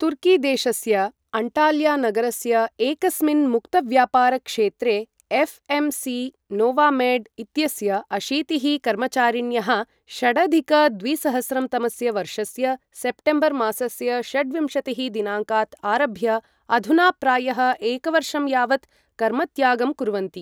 तुर्कीदेशस्य अण्टाल्यानगरस्य एकस्मिन् मुक्तव्यापारक्षेत्रे एफ्.एम्.सी नोवामेड् इत्यस्य अशीतिः कर्मचारिण्यः षडधिक द्विसहस्रं तमस्य वर्षस्य सप्टेम्बर्मासस्य षड्विंशतिः दिनाङ्कात् आरभ्य अधुना प्रायः एकवर्षं यावत् कर्मत्यागं कुर्वन्ति।